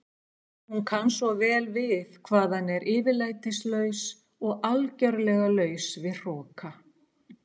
Hún kann svo vel við hvað hann er yfirlætislaus og algerlega laus við hroka.